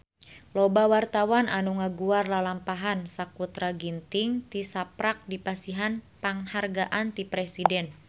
Loba wartawan anu ngaguar lalampahan Sakutra Ginting tisaprak dipasihan panghargaan ti Presiden